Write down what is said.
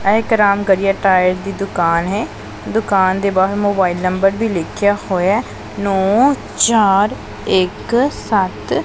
ਇਹ ਇਕ Ramgarhia tyre ਦੀ ਦੁਕਾਨ ਹੈ ਦੁਕਾਨ ਦੇ ਬਾਹਰ ਮੋਬਾਈਲ ਨੰਬਰ ਵੀ ਲਿਖਿਆ ਹੋਇਐ ਨੋ ਚਾਰ ਇੱਕ ਸੱਤ --